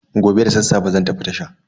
Gobe da sassafe zan tafi tasha.